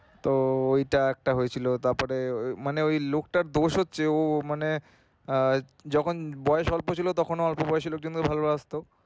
তো ঐটা একটা হয়েছিলো তারপরে মানে ঐ লোকটার দোষ হচ্ছে ও মানে আহ যখন বয়স অল্প ছিলো তখন অল্প বয়সী লোকজনদের ভালোবাসতো।